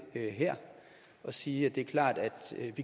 her og sige at det er klart at